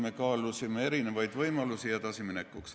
Me kaalusime eri võimalusi edasiminekuks.